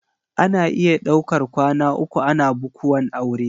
Ana iya daukar kwana uku ana bukuwan aure.